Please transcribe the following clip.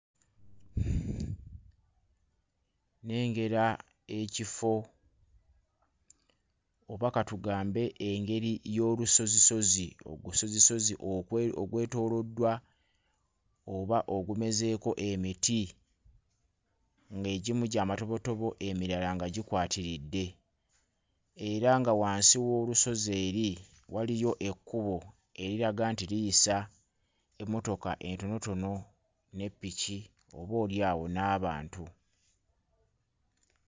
Nnengera ekifo oba katugambe engeri y'olusozisozi ogusozisozi ogwe ogwetooloddwa oba ogumezeeko emiti, ng'egimu gy'amatobotobo emirala nga gikwatiridde. Era nga wansi w'olusozi eri waliyo ekkubo eriraga nti liyisa emmotoka entonotono ne ppiki oboolyawo n'abantu.